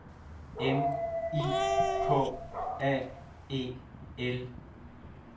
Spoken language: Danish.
M I K A E L